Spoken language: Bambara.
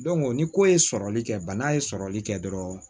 ni ko ye sɔrɔli kɛ bana ye sɔrɔli kɛ dɔrɔn